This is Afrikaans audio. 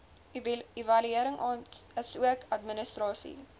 evaluering asook administrasie